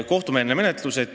Kolm minutit lisaaega.